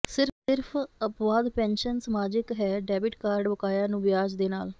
ਸਿਰਫ ਅਪਵਾਦ ਪੈਨਸ਼ਨ ਸਮਾਜਿਕ ਹੈ ਡੈਬਿਟ ਕਾਰਡ ਬਕਾਇਆ ਨੂੰ ਵਿਆਜ ਦੇ ਨਾਲ